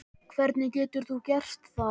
Hvernig getur þú gert það?